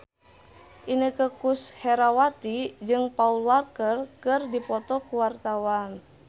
Inneke Koesherawati jeung Paul Walker keur dipoto ku wartawan